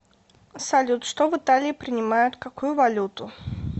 салют что в италии принимают какую валюту